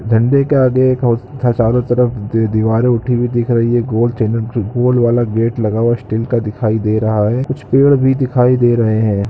झंडे के आगे एक चारों तरफ दिवारें उठी हुई दिख रही है गोल चै गोल वाला गेट लगा हुआ स्टील का दिखाई दे रहा है कुछ पेड़ भी दिखाई दे रहे है।